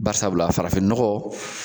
Bari sabula farafin nɔgɔ